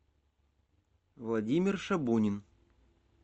владимир шабунин